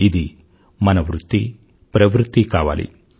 ఇది మ వృత్తిప్రవృత్తి కావాలి